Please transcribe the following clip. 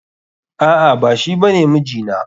A'a, ba shi bane mijina.